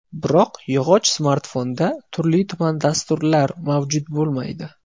Biroq yog‘och smartfonda turli-tuman dasturlar mavjud bo‘lmaydi.